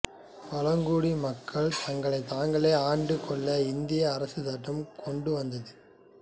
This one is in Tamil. பழங்குடியின மக்கள் தங்களை தாங்களே ஆண்டு கொள்ள இந்திய அரசு சட்டம் கொண்டு வந்தது